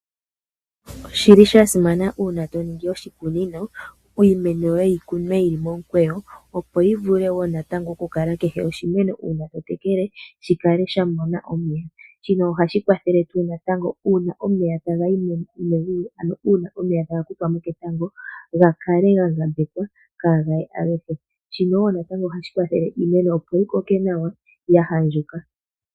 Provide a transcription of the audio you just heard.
Osha simana uuna to ningi oshikunino iimeno yoye yi kunwe yi li momukweyo, opo yi vule wo nantango okukala kehe oshimeno uuna to tekele shi kale sha mona omeya. Shino ohashi kwathele wo natango uuna omeya taga kuthwa mo ketango ga kale ga ngambekwa kaaga ye agehe. Ohashi kwathele wo iimeno opo yi koke nawa ya andjuka.